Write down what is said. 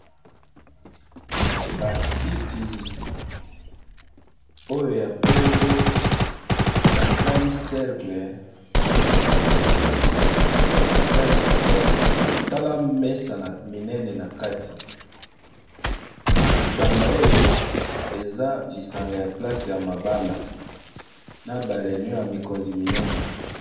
Ba kiti oyo ya pembe basali cercle eza kitoko, tala mesa na minene na kati esanga oyo eza lisanga ya place ya mabala na ba reunion ya mikonzi minene.